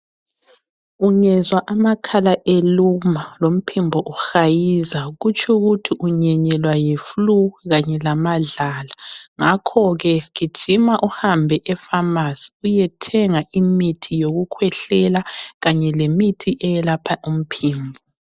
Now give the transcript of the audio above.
Ungezwa amakhala eluma lomphimbo uhayiza kutsho ukuthi unyenyelwa yi flue Kanye lamadlala ngakhoke gijima uhambe e pharmacy uyethenga imithi yokukhwehlela kanye lemithi eyelapha umphimbo